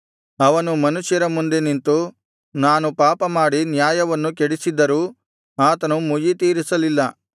ಅವನು ಮನುಷ್ಯರ ಮುಂದೆ ನಿಂತು ನಾನು ಪಾಪ ಮಾಡಿ ನ್ಯಾಯವನ್ನು ಕೆಡಿಸಿದ್ದರೂ ಆತನು ಮುಯ್ಯಿತೀರಿಸಲಿಲ್ಲ